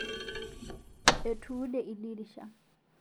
Etuude ldirisha